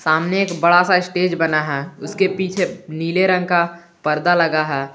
आमने एक बड़ा सा स्टेज बना है उसके पीछे नीले रंग का पर्दा लगा है।